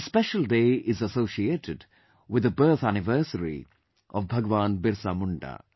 This special day is associated with the birth anniversary of Bhagwan Birsa Munda